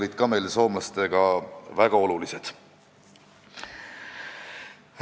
Nii et meil olid soomlastega ka sellised väga olulised koostööpunktid.